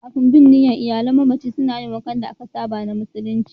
Kafin binniya, iyalan mamaci suna yin wankan da aka saba na musulunci.